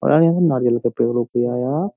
पता नहीं नारियल का पेड़ --